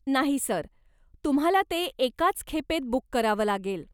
नाही सर, तुम्हाला ते एकाच खेपेत बूक करावं लागेल.